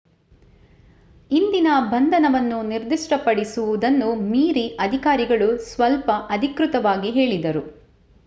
ಇಂದಿನ ಬಂಧನವನ್ನು ನಿರ್ದಿಷ್ಟಪಡಿಸು ವುದನ್ನು ಮೀರಿ ಅಧಿಕಾರಿಗಳು ಸ್ವಲ್ಪ ಅಧಿಕೃತವಾಗಿ ಹೇಳಿದರು